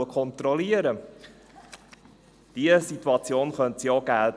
Auch diese Situation könnte es geben.